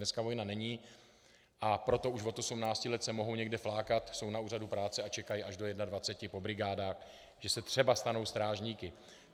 Dneska vojna není, a proto už od 18 let se mohou někde flákat, jsou na úřadu práce a čekají až do 21 po brigádách, že se třeba stanou strážníky.